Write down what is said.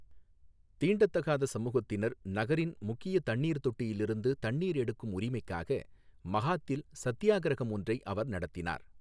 தீண்டத்தகாத சமூகத்தினர் நகரின் முக்கிய தண்ணீர் தொட்டியில் இருந்து தண்ணீர் எடுக்கும் உரிமைக்காக மகாத்தில் சத்தியாகிரகம் ஒன்றை அவர் நடத்தினார்.